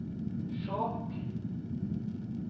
Skjåk